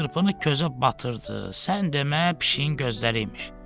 Çırpını közə batırdı, sən demə pişiyin gözləri imiş.